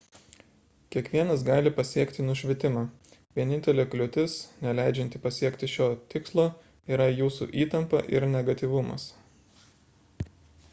kiekvienas gali pasiekti nušvitimą vienintelė kliūtis neleidžianti pasiekti šio tikslo yra jūsų įtampa ir negatyvumas